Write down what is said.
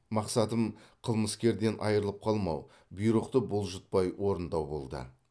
мақсатым қылмыскерден айырылып қалмау бұйрықты бұлжытпай орындау болды